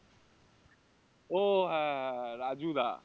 ও হ্যাঁ হ্যাঁ হ্যাঁ রাজু দা